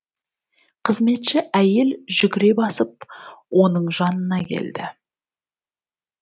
қызметші әйел жүгіре басып оның жанына келді